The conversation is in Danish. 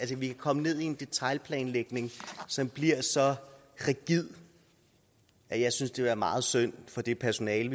vi kan komme ned i en detailplanlægning som bliver så rigid at jeg synes det vil være meget synd for det personale